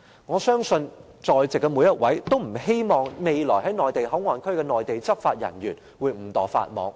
我相信在席每一位也不希望未來在內地口岸區工作的內地執法人員會誤墮法網。